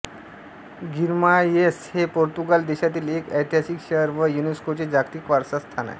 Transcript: Guimarães हे Portugal देशातील एक ऐतिहासिक शहर व युनेस्कोचे जागतिक वारसा स्थान आहे